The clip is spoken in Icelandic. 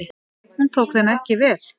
Hún tók þeim ekki vel.